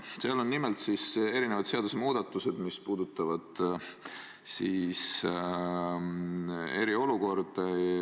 Selles eelnõus on nimelt erinevad seadusmuudatused, mis puudutavad eriolukorda.